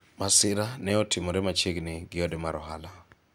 masira ne otimore machiegni gi ode mar ohala